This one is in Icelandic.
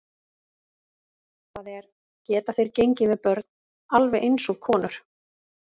Það er, geta þeir gengið með börn alveg eins og konur?